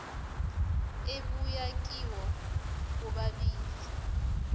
ebuya kibo bobabili